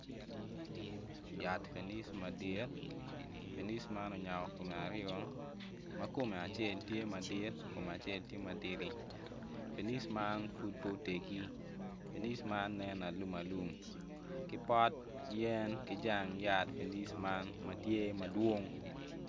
Yat fenic madit fenic man onyako kume aryo ma kume acel tye madit kume acel tye matidi nfenic man pud po oteggi fenic man nen alum alum ki pot yen ki jang fenic ma tye madwong